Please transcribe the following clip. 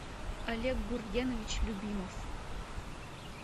олег гургенович любимов